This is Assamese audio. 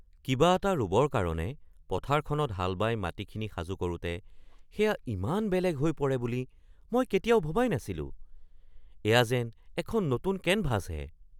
কিবা এটা ৰুবৰ কাৰণে পথাৰখনত হাল বাই মাটিখিনি সাজু কৰোঁতে সেয়া ইমান বেলেগ হৈ পৰে বুলি মই কেতিয়াও ভবাই নাছিলোঁ। এয়া যেন এখন নতুন কেনভাছহে!